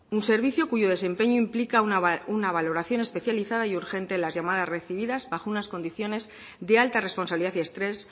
un servicio cuyo desempeño implica una valoración especializada y urgente en las llamadas recibidas bajo unas condiciones de alta responsabilidad y estrés